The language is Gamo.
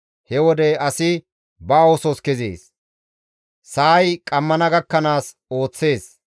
He wode asi ba oosos kezees; sa7ay qammana gakkanaas ooththees.